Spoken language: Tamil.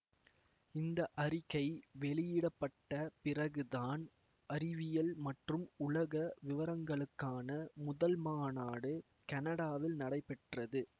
இந்த அறிக்கை வெளியிட பட்ட பிறகு தான் அறிவியல் மற்றும் உலக விவரங்களுக்கான முதல் மாநாடு கனடாவில் நடைபெற்றது